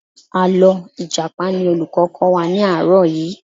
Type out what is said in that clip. Àlọ́ Ìjàpá ni olùkọ́ kọ́ wa ní àárọ̀ yìí